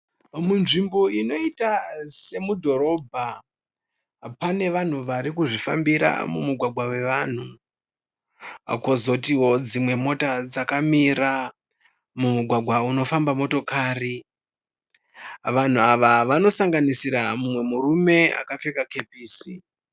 Munzvimbo inoita semudhorobha pane vanhu vari kuzvifambira mumugwagwa wevanhu. Kozotiwo dzimwe mota dzakamira mumugwagwa unofamba motokari. Vanhu ava vanosanganisira mumwe murume akapfeka kepisi.